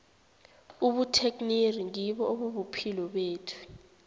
ubutekniri ngibo obubuphilo bethu